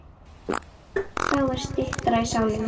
Þá er styttra í sálina.